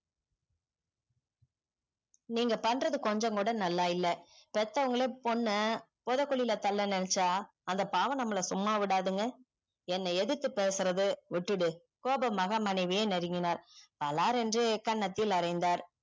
நீங்க பண்றது கொஞ்சோ கூட நல்லா இல்ல பெத்தவங்களே பொண்ண போதகுளில தள்ள நெனச்சா அந்த பாவம் நம்மள சும்மா விடாதுங்க என்ன எதுத்து பேசுறத விட்டுடு கோபமாக மனைவியே நெருக்கினால் பலாறு என்று கன்னத்தில் அரைந்தார்